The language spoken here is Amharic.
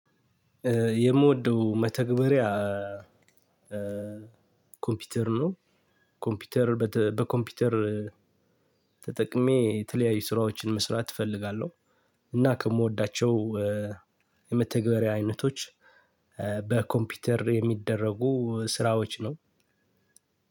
የምወደው መተግበሪያ ኮምፒውተር ነው። ኮምፒውተር በኮምፒውተር ተጠቅሜ የተለያዩ ስራዎችን መስራት እፈልጋለሁ። እና ከምወዳቸው የመተግበሪያ አይነቶች በኮምፒውተር የሚደረጉ ስራዎች ነው።